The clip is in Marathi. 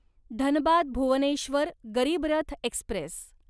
धनबाद भुवनेश्वर गरीब रथ एक्स्प्रेस